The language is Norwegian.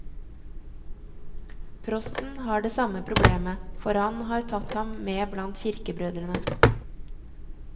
Prosten har det samme problemet, for han har tatt ham med blant kirkebrødrene.